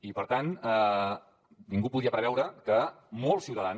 i per tant ningú podia preveure que molts ciutadans